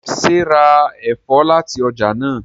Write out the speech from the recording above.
ṣe rá èfó láti ọjà náa?